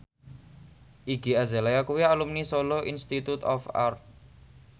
Iggy Azalea kuwi alumni Solo Institute of Art